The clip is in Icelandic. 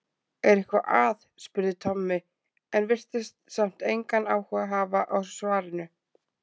Er eitthvað að? spurði Tommi en virtist samt engan áhuga hafa á svarinu.